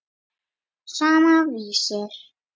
Sama, Vísir.